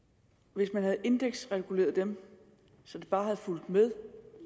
hvis man havde indeksreguleret dem så de bare havde fulgt med